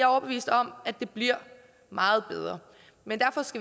overbevist om at det bliver meget bedre men